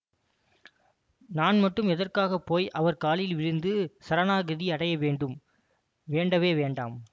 நான் மட்டும் எதற்காக போய் அவர் காலில் விழுந்து சரணாகதி அடையவேண்டும் வேண்டவே வேண்டாம்